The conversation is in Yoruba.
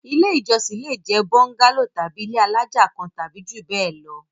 Ilé-ìjọsìn le jẹ́ bóńgálò tàbí ilé alájà kan tàbí jù bẹ́ẹ̀ lọ.